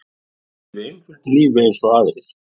Ég lifi einföldu lífi eins og aðrir.